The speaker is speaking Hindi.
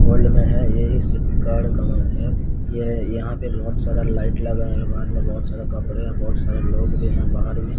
ओल्ड में है ये एक सिटी कार्ड कलर का है ये यहां पे बहोत सारा लाइट लगा है बाहर मे बहोत सारा कपड़े है बहोत सारा लोग भी हैं बाहर में।